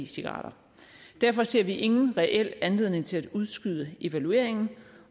cigaretter derfor ser vi ingen reel anledning til at udskyde evalueringen